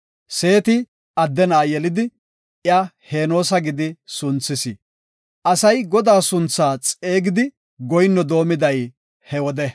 Seeti adde na7a yelidi iya “Henoosa” gidi sunthis. Asay Godaa suntha xeegidi goyinno doomiday he wode.